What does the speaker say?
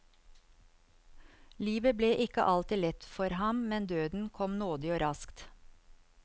Livet ble ikke alltid lett for ham, men døden kom nådig og raskt.